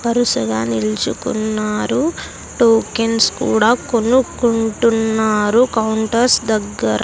వరుసగా నిలుచుకున్నారు టోకెన్స్ కూడా కొనుక్కుంటున్నారు కౌంటర్స్ దగ్గర.